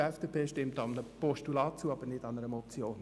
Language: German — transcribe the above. Die FDP stimmt somit einem Postulat zu, aber nicht einer Motion.